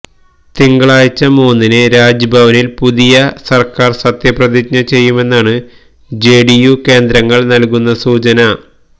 തിങ്കളാഴ്ച മൂന്നിന് രാജ്ഭവനില് പുതിയ സര്ക്കാര് സത്യപ്രതിജ്ഞ ചെയ്യുമെന്നാണ് ജെഡിയു കേന്ദ്രങ്ങള് നല്കുന്ന സൂചന